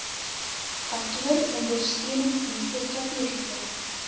kantooronder steuningsdienste strategiese